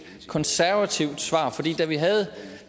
konservativt svar for da vi havde